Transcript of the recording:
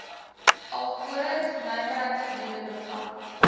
alvorens nywerheidsgebiede beplan